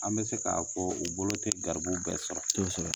An bɛ se k'a fɔ u bolo te garibuw bɛɛ sɔrɔ kosɛbɛ